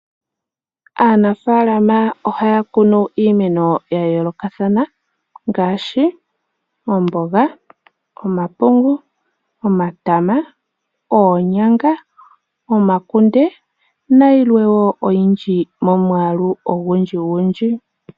Aanafaalama ohaya kunu iimeno yayoolokathana ngaashi oomboga, omapungu, omatama, oonyanga, omakunde nayilwe woo oyindji momwaalu ogundji gundji.